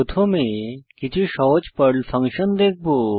প্রথমে কিছু সহজ পর্ল ফাংশন দেখব